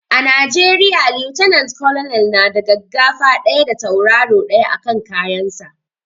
A najeriya lieutenant colonel na da gaggafa ɗaya da tauraro ɗaya a kan kayan sa